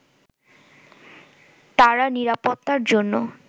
তারা নিরাপত্তার জন্য